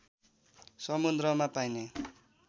समुद्रमा पाइने